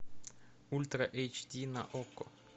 ультра эйч ди на окко